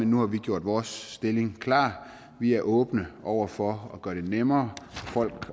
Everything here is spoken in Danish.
nu har vi gjort vores stilling klar vi er åbne over for at gøre det nemmere for folk